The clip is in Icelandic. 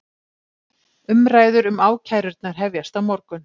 Umræður um ákærurnar hefjast á morgun